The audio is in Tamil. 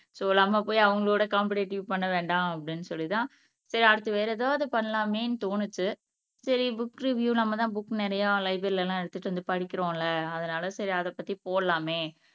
சோ நம்ம போய் அவங்களோட காம்பிடிட்டிவ் பண்ண வேண்டாம் அப்படின்னு சொல்லிதான் சரி அடுத்து வேற எதாவது பண்ணலாமேன்னு தோணுச்சு சரி புக் ரிவியூ நம்மதான் புக் நிறைய லைப்ரரில எல்லாம் எடுத்துட்டு வந்து படிக்கிறோம்ல அதனால சரி அதை பத்தி போடலாமே